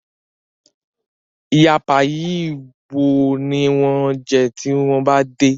Ìyá Páyi wo ní wan jé tí wón bá dé?